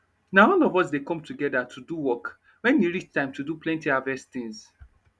na all of us dey come togeda to do work wen e reach time to do plenty harvest tins